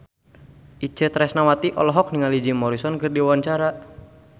Itje Tresnawati olohok ningali Jim Morrison keur diwawancara